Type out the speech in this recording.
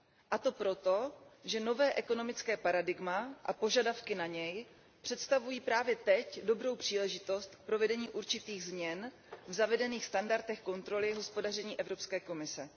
A to proto, že nové ekonomické paradigma a požadavky na něj představují právě teď dobrou příležitost k provedení určitých změn v zavedených standardech kontroly hospodaření Evropské komise.